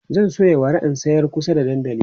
zan soya wara in sayar kusa da dandali